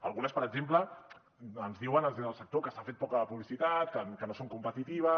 algunes per exemple ens diuen els del sector que s’ha fet poca publicitat que no són competitives